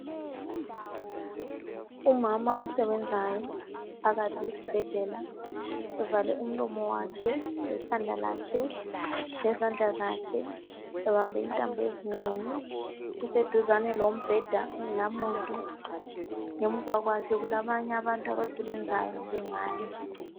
Umama osebenzayo phakathi esibhedlela evale umlomo wakhe, lekhanda lakhe, lezandla zakhe, ebambe intambo ezinengi .Useduzane lombheda ongelamuntu. Ngemva kwakhe kulabanye abantu abasebenzayo njengaye.